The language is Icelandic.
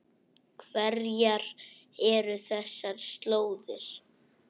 Hverjar eru þessar slóðir?